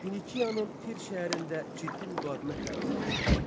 Finikiyanın Tir şəhərində ciddi müqavimətlə rastlaşdı.